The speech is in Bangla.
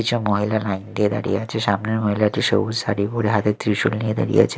কিছু মহিলা লাইন দিয়ে দাঁড়িয়ে আছে সামনের মহিলাটি সবুজ শাড়ি পড়ে হাতে ত্রিশূল নিয়ে দাঁড়িয়ে আছে।